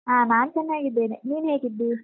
ಹಾ ನಾನ್ ಚೆನ್ನಾಗಿದ್ದೇನೆ, ನೀನ್ ಹೇಗಿದ್ದಿ?